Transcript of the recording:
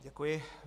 Děkuji.